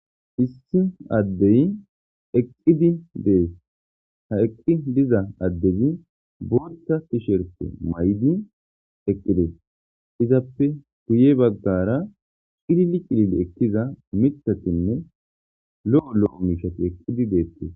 Issi adeyi eqidi desi ha eqidi diza adezi botha tisherite mayidi eqidees izappe guye bagara cilili cilili ekiza miththati ne loI LoI mishata eqidi betetees